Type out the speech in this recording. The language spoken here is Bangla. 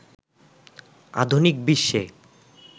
আধুনিক বিশ্বে